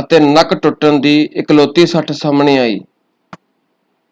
ਅਤੇ ਨੱਕ ਟੁੱਟਣ ਦੀ ਇਕਲੌਤੀ ਸੱਟ ਸਾਹਮਣੇ ਆਈ।